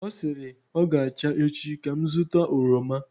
ọ sịrị, ọ ga-acha echi ka m zụta oroma